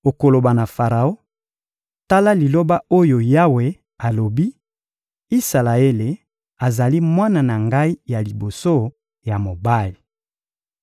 Okoloba na Faraon: «Tala liloba oyo Yawe alobi: ‹Isalaele azali mwana na Ngai ya liboso ya mobali.